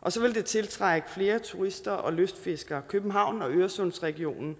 og så vil det tiltrække flere turister og lystfiskere københavns og øresundsregionen